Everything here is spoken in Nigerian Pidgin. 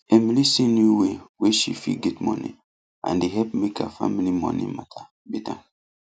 emily see new way wey she fit get money and e help make her family money matter better